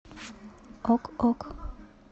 ок ок